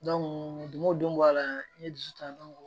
don o don bɔ a la n ye dusu ta